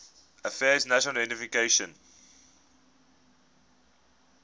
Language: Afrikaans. affairs national identification